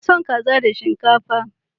Ina son kaza da shinkafa.